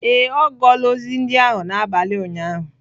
Ee, ọ gụọla ozi ndị ahụ n'abalị ụnyaahụ.